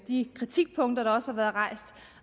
de kritikpunkter der også har været rejst